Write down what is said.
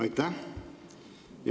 Aitäh!